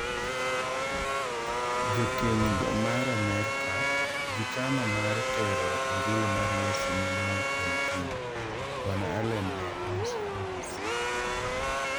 Jokeny go mar Amerka "Gichano mar tero injili mar Yesu nyime ei piny" Bwana Allen ne onyiso BBC.